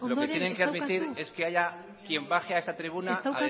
es ez daukazu hitzik que haya quien baje a esta tribuna a decir